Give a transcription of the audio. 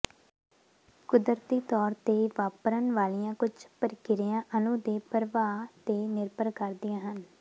ਕੁਦਰਤੀ ਤੌਰ ਤੇ ਵਾਪਰਨ ਵਾਲੀਆਂ ਕੁੱਝ ਪ੍ਰਕਿਰਿਆ ਅਣੂ ਦੇ ਪ੍ਰਵਾਹ ਤੇ ਨਿਰਭਰ ਕਰਦੀਆਂ ਹਨ